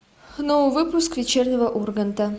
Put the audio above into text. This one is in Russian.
новый выпуск вечернего урганта